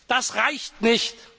Das reicht nicht!